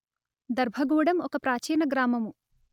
దర్భగూడెం ఒక ప్రాచీన గ్రామము